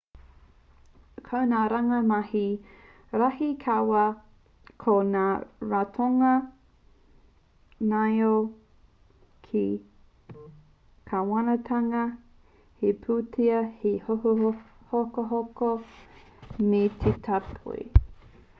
ko ngā rāngai mahi rahi rawa ko ngā ratonga ngaio te kāwanatanga te pūtea te hokohoko me te tāpoi